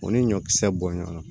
O ni ɲɔkisɛ bɔn ɲɔgɔn na